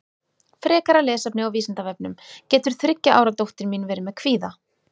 Frekara lesefni á Vísindavefnum Getur þriggja ára dóttir mín verið með kvíða?